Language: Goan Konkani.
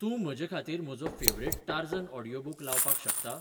तूं म्हजेखातीर म्हजो फेवरेट टार्झन ऑडीयोबूक लावपाक शकता?